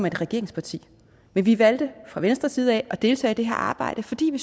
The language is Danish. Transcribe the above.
et regeringsparti men vi valgte fra venstres side at deltage i det her arbejde fordi vi